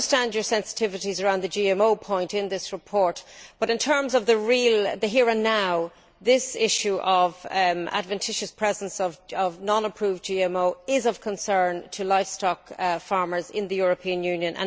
I understand your sensitivities regarding the GMO point in this report but, in terms of the here and now, this issue of the adventitious presence of non approved GMO is of concern to livestock farmers in the European Union.